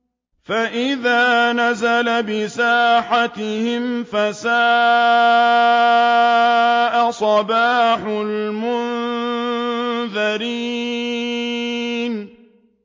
فَإِذَا نَزَلَ بِسَاحَتِهِمْ فَسَاءَ صَبَاحُ الْمُنذَرِينَ